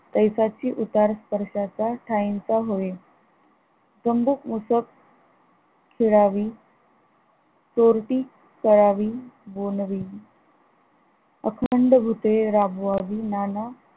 तैसाची उतार स्पर्शाचा ठाईचा होय चम्बुक उसक खेळावी चोरटी पळावी भोनवी अखंड भुते राबवावी नाना